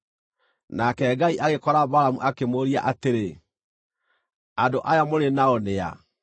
Nake Ngai agĩkora Balamu akĩmũũria atĩrĩ, “Andũ aya mũrĩ nao nĩ a?”